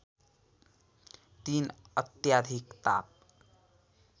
३ अत्याधिक ताप